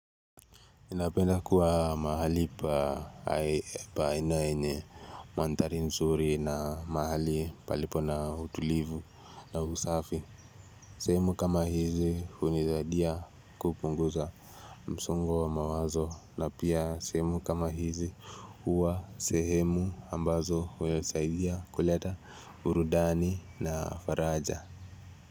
Napenda kuwa mahali pa aina yenye manthari nzuri na mahali palipo na hutulivu na usafi. Sehemu kama hizi hunizadia kupunguza msongo wa mawazo na pia sehemu kama hizi uwa sehemu ambazo unasaidia kuleta burudani na faraja.